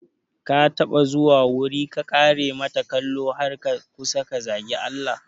Ka taɓa zuwa wuri ka kare mata kalo har ka kusa ka zagi Allah?